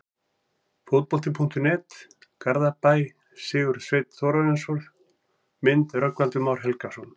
Fótbolti.net, Garðabæ- Sigurður Sveinn Þórðarson Mynd: Rögnvaldur Már Helgason